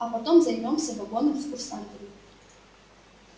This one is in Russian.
а потом займёмся вагоном с курсантами